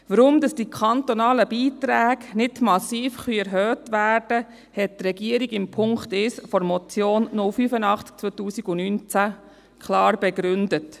Weshalb die kantonalen Beiträge nicht massiv erhöht werden können, hat die Regierung zum Punkt 1 der Motion 085-2019 klar begründet.